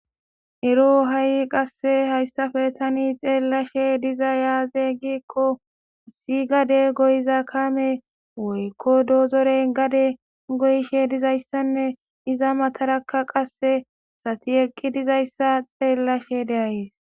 Ero hayi qase hayissappe tani xellishshe dizayi azee gikko i gade kame woyikko dozoronni gade goyishshe dizayissanne iza matarakka qase asati eqi dizayissa xeelashshe de'as.